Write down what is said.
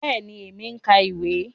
Bẹẹni, èmi n ka ìwé.